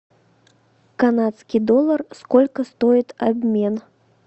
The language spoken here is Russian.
канадский доллар сколько стоит обмен